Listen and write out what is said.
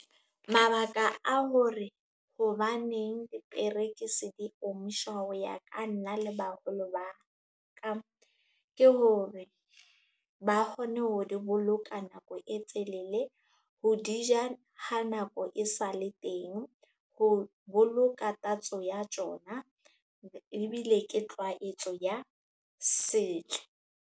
Mabaka a hore hobaneng diperekisi di omishwa ho ya ka nna le baholo ba ka, ke hore ba kgone ho di boloka nako e telele, ho di ja ha nako e sale teng, ho boloka tatso ya tjona ebile ke tlwaetso ya setso.